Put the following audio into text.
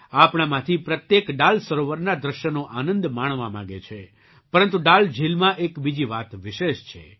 આપણામાંથી પ્રત્યેક ડાલ સરોવરના દૃશ્યનો આનંદ માણવા માગે છે પરંતુ ડલ ઝીલમાં એક બીજી વાત વિશેષ છે